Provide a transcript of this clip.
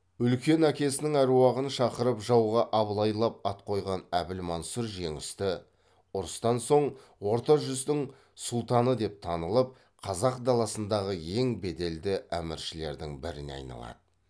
үлкен әкесінің аруағын шақырып жауға абылайлап ат қойған әбілмансұр жеңісті ұрыстан соң орта жүздің сұлтаны деп танылып қазақ даласындағы ең беделді әміршілердің біріне айналады